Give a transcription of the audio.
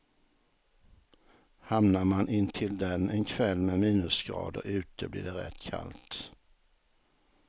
Hamnar man intill den en kväll med minusgrader ute blir det rätt kallt.